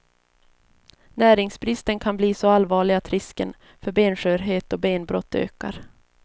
Näringsbristen kan bli så allvarlig att risken för benskörhet och benbrott ökar.